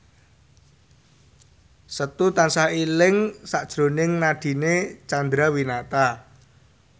Setu tansah eling sakjroning Nadine Chandrawinata